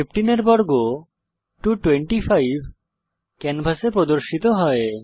15 এর বর্গ 225 ক্যানভাসে প্রদর্শিত হয়